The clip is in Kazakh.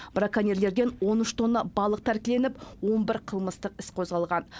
браконьерлерден он үш тонна балық тәркіленіп он бір қылмыстық іс қозғалған